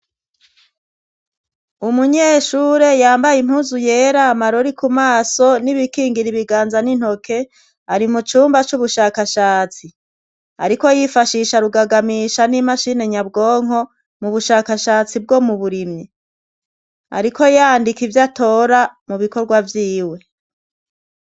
Umunyeshure yambaye impuzu yera amarori kumaso n'ibikingira ibiganza n'intoke ari mu cumba c'ubushakashatsi ariko yifashisha rugagamisha n'imashini nyabwonko mu bushakashatsi bwo mu burimyi ariko yandika ivyatora mu bikorwa vyiwe.